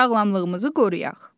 Sağlamlığımızı qoruyaq.